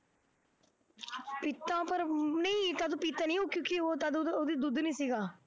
ਦਿੱਤਾ ਪਰ ਊਂ ਨਹੀਂ, ਪੀਤਾ ਨਹੀਂ, ਕਿਉਂਕਿ ਉਹ ਤਦ ਉਹਦੇ ਉਹਦੇ ਦੁੱਧ ਨਹੀਂ ਸੀਗਾ,